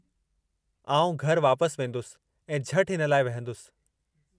आउं घरि वापसि वेंदुसि ऐं झटि हिन लाइ विहंदुसि।